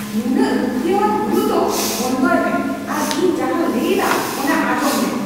ᱱᱩᱱᱟᱹᱜ ᱨᱩᱠᱷᱤᱭᱟᱹᱣᱟᱱ ᱦᱩᱭᱩᱜ ᱫᱚ ᱵᱚᱱᱫᱚᱭ ᱢᱮ ᱟᱨ ᱤᱧ ᱡᱟᱦᱟᱧ ᱞᱟᱹᱭ ᱮᱫᱟ ᱚᱱᱟ ᱟᱸᱧᱡᱚᱢ ᱢᱮ ᱾